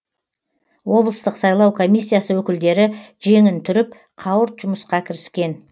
облыстық сайлау комиссиясы өкілдері жеңін түріп қауырт жұмысқа кіріскен